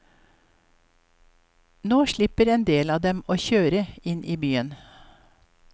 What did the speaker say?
Nå slipper en del av dem å kjøre inn til byen.